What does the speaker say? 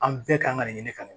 An bɛɛ kan ka nin ɲini ka nin